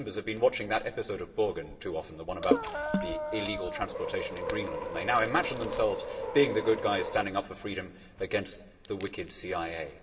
I think Members have been watching that episode of too often the one about the illegal transportation in Greenland and they now imagine themselves being the good guy standing up for freedom against the wicked CIA.